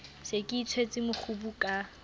se ke itshwetse mokgubu ka